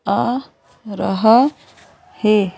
आ रहा है।